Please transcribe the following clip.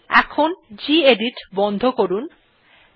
এখন গেদিত বন্ধ করলাম